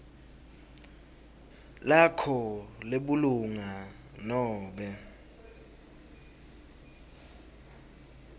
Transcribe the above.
lakho lebulunga nobe